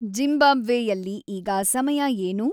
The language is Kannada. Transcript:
ಜಿಂಬಾಬ್ವೆಯಲ್ಲಿ ಈಗ ಸಮಯ ಏನು